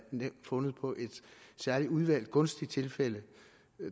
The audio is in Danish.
fundet på et særlig udvalgt gunstigt tilfælde